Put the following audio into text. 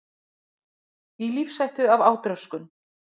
Í lífshættu af átröskun